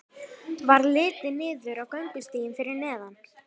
Varð litið niður á göngustíginn fyrir neðan.